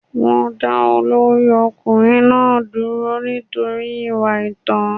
Wọ́n dá olórí ọkùnrin náà dúró nítorí ìwà àìtó.